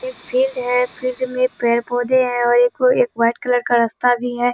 एक फील्‍ड है फील्‍ड में पेड़-पौधेे हैं और एक वो एक वाइट कलर का रास्‍ता भी है।